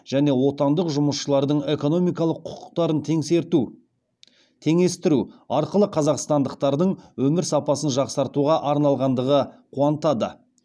және отандық жұмысшылардың экономикалық құқықтарын теңестіру арқылы қазақстандықтардың өмір сапасын жақсартуға арналғандығы қуантады